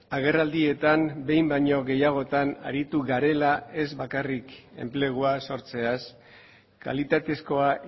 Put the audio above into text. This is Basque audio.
agerraldietan behin baino gehiagotan aritu garela ez bakarrik enpleguaz sortzeaz kalitatezkoa